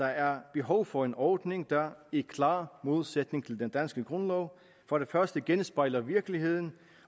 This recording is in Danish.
er behov for en ordning der i klar modsætning til den danske grundlov for det første genspejler virkeligheden